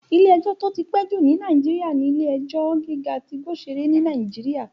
Ilé-ẹjọ́ tó ti pẹ́ jù ní Nàìjíríyà ní Ilé-ẹjọ́ gíga tí Igbosere ní Nàìjíríyà